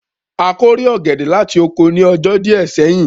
A kórè ọ̀gẹ̀dẹ̀ láti oko ní ọjọ́ díẹ̀ sẹ́yìn